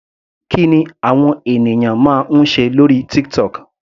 Kí ni àwọn ènìyàn máa ń ṣe lórí TikTok.